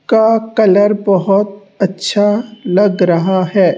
का कलर बहोत अच्छा लग रहा है।